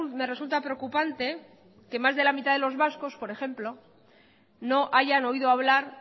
me resulta preocupante que más de la mitad de los vascos por ejemplo no hayan oído hablar